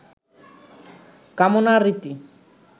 কামনার রীতি